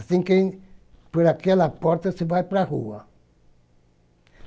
Assim que, por aquela porta, você vai para a rua.